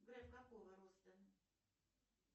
греф какого роста